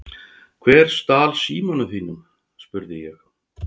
Hver stal símanum þínum? spurði ég.